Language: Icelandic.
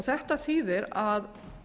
þetta þýðir að